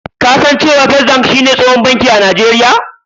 kasan da cewa " first bank" shi ne tsohon banki a najeria?